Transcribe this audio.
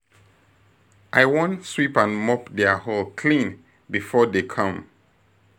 I wan sweep and mop their hall clean before dey come